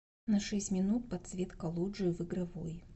на шесть минут подсветка лоджии в игровой